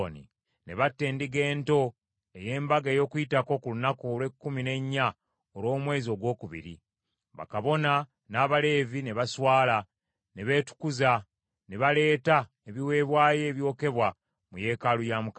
Ne batta Endiga Ento ey’Embaga ey’Okuyitako ku lunaku olw’ekkumi n’ennya olw’omwezi ogwokubiri. Bakabona n’Abaleevi ne baswala, ne beetukuza, ne baleeta ebiweebwayo ebyokebwa mu yeekaalu ya Mukama .